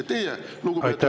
Ja teie, lugupeetud Yoko …